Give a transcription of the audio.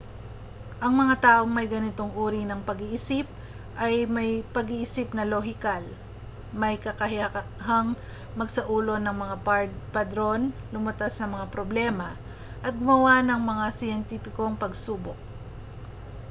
ang mga taong may ganitong uri ng pag-iisip ay may pag-iisip na lohikal may kakayahang magsaulo ng mga padron lumutas ng mga problema at gumawa ng mga siyentipikong pagsubok